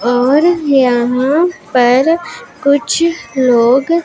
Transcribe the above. और यहां पर कुछ लोग--